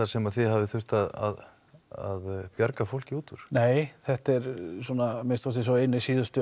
sem að þið hafið þurft að að bjarga fólki út úr nei þetta er að minnsta kosti sá eini síðustu